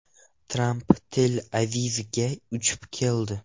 Tramp Tel-Avivga uchib keldi .